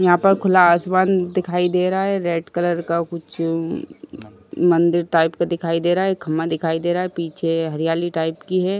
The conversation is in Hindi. यहाँ पर खुला आसमान दिखाई दे रहा है रेड कलर का। कुछ म मंदिर टाइप का दिखाई दे रहा है। खंभा दिखाई दे रहा है। पीछे हरियाली टाइप की है।